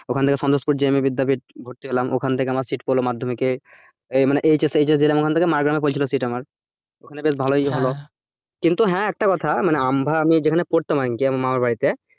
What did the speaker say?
ওখান থেকে সন্তোষপুর JM বিদ্যাপীঠ ভর্তি হলাম ওখান থেকে আমার sit পড়ল মধ্যমিকে মানে HSHS দিলাম ওখান থেকে মাড়গ্রামে পড়েছিল sit আমার ওখানে বেশ ভালই হল, কিন্তু হ্যাঁ একটা কথা মানে আমভা আমি যেখানে পড়তাম আরকি আমার মামার বাড়িতে